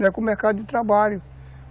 Não é com o mercado de trabalho.